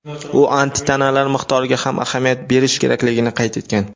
u antitanalar miqdoriga ham ahamiyat berish kerakligini qayd etgan.